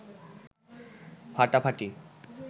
ফাটাফাটি